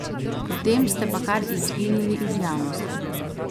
Potem ste pa kar izginili iz javnosti.